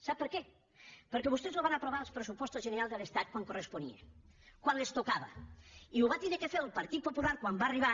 sap per què perquè vostès no ho van aprovar als pressupostos generals de l’estat quan corresponia quan els tocava i ho va haver de fer el partit popular quan va arribar